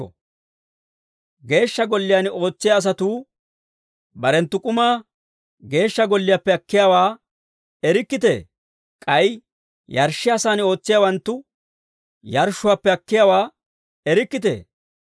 Geeshsha Golliyaan ootsiyaa asatuu barenttu k'umaa Geeshsha Golliyaappe akkiyaawaa erikkitee? K'ay yarshshiyaasaan ootsiyaawanttu yarshshuwaappe akkiyaawaa erikkitee?